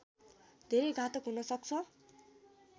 धेरै घातक हुनसक्छ